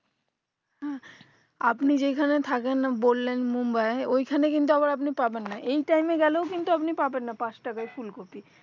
আপনি যেখানে থাকেন না বললেন মুম্বাই এ ওই খানে কিন্তু আবার পাবেন না এই time এ গেলেও পাবেন না পাঁচ টাকাই ফুলকপি